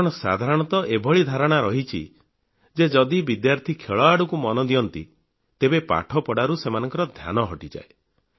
କାରଣ ସାଧାରଣତଃ ଏଭଳି ଧାରଣା ରହିଛି ଯେ ଯଦି ବିଦ୍ୟାର୍ଥୀ ଖେଳ ଆଡ଼କୁ ମନ ଦିଅନ୍ତି ତେବେ ପାଠପଢ଼ାରୁ ସେମାନଙ୍କ ଧ୍ୟାନ ହଟିଯାଏ